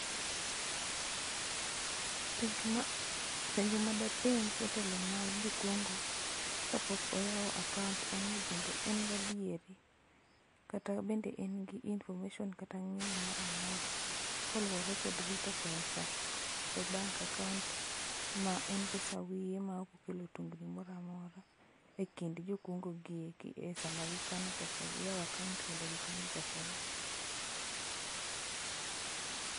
Penjo ma ,penjo ma dapenj jotelo ma jo kungo ka pok oyao akaunt en nii be en gi adieri, kata bende en gi information kata ng'eyo moro amora kaluore gi rito pesa e bank akaunt ma en pesa[sc] wiye ma moro amora e kind jo kungo gi e sama gikano pesa gi e akaunt kendo gikano pesa gi